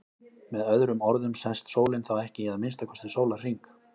Með öðrum orðum sest sólin þá ekki í að minnsta kosti sólarhring.